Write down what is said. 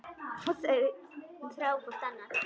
Og þau þrá hvort annað.